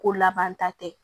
Ko laban ta tɛ